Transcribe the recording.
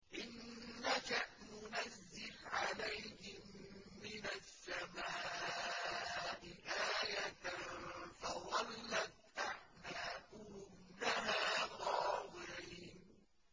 إِن نَّشَأْ نُنَزِّلْ عَلَيْهِم مِّنَ السَّمَاءِ آيَةً فَظَلَّتْ أَعْنَاقُهُمْ لَهَا خَاضِعِينَ